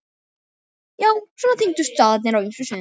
Já, svona tengdust staðirnir á ýmsum sviðum.